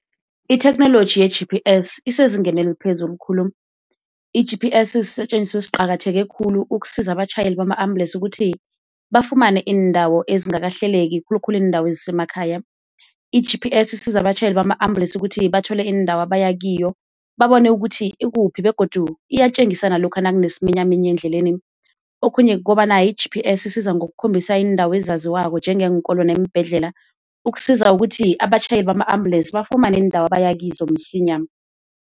Itheknoloji ye-G_P_S isezingeni eliphezulu khulu. I-G_P_S sisetjenziswa esiqakatheke khulu ukusiza abatjhayeli bama ambulensi ukuthi bafumane iindawo ezingakahleleki khulukhulu iindawo ezisemakhaya. I-G_P_S isiza abatjhayeli bama ambulensi ukuthi bathole indawo abaya kiyo, babone ukuthi ikuphi begodu iyatjengisa nalokha nakunesiminyaminya endleleni. Okhunye kukobana i-G_P_S isiza ngokukhombisa iindawo ezaziwako njengeenkolo neembhedlela, ukusiza ukuthi abatjhayeli bama ambulensi bafumane iindawo abaya kizo msinya.